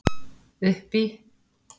Uppi í